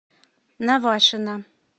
навашино